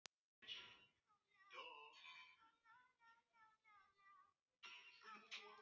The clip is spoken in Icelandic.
Hann hjólaði bak við búðina og þarna var Jói.